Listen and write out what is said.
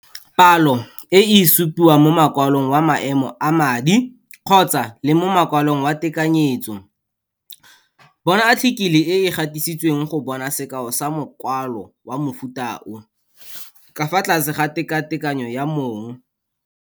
Palo e e supiwa mo mokwalong wa maemo a madi kgotsa-le mo mokwalong wa tekanyetso, bona athikele e e gatisitsweng go bona sekao sa mokwalo wa mofuta o, ka fa tlase ga tekatekanyo ya mong.